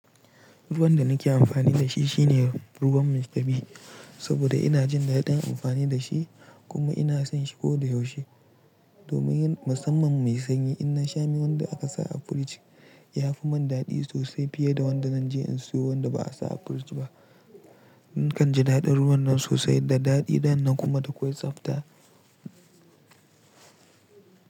Ruwan da nake amfani da shi shine ruwan mista b saboda ina jin daɗin amfani da shi kuma ina son shi ko da yaushe. Domin yin musamman mai sanyi, ina sha mi wanda aka sa a firiji. Ya fi mani daɗi sosai fiye da wanda na je in siyo wanda ba a sa a firiji ba. Nakan ji daɗin ruwan nan sosai, da daɗi danna kuma da akwai tsabta.